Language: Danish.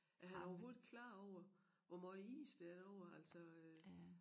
Er han overhovedet klar over hvor måj is der er derover altså øh